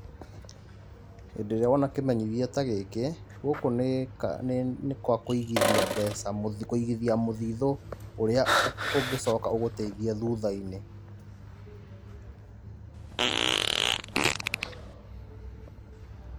Hĩndĩ ĩrĩa wona kĩmenyithia ta gĩkĩ, gũkũ nĩ gwa kũigithia mbeca, kũigithia mũthithũ ũrĩa ũngicoka ũgũteithie thutha-inĩ.